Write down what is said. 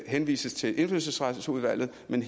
henvises til indfødsretsudvalget men